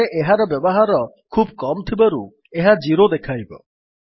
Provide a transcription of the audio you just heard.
ଏଠାରେ ଏହାର ବ୍ୟବହାର ଖୁବ୍ କମ ଥିବାରୁ ଏହା 0 ଦେଖାଇବ